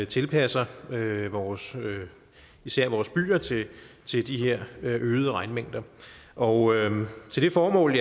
tilpasser især vores især vores byer til de her øgede regnmængder og til det formål